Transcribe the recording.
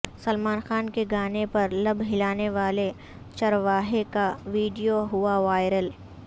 سلمان خان کے گانے پر لب ہلانے والے چرواہے کا ویڈیو ہوا وائیرل